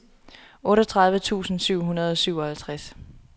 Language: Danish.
otteogtredive tusind syv hundrede og syvoghalvtreds